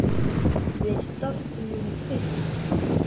Við dofnum upp.